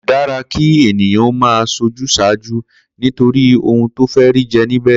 Kò dára kí ènìyàn ó máa s̩ojús̩àájú nítorí ohun tó fé̩ rí je̩ níbè̩